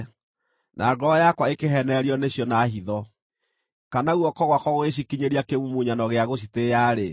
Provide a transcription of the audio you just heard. na ngoro yakwa ĩkĩheenererio nĩcio na hitho, kana guoko gwakwa gũgĩcikinyĩria kĩmumunyano gĩa gũcitĩĩa-rĩ,